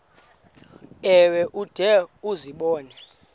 ewe ude uzibone